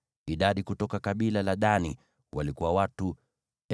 Idadi kutoka kabila la Dani walikuwa watu 62,700.